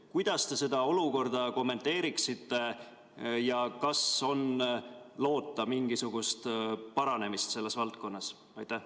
Kuidas te seda olukorda kommenteeriksite ja kas on loota mingisugust paranemist selles valdkonnas?